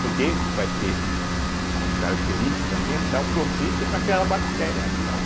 Porque vai ter a característica ambiental propícia para aquela bactéria atuar.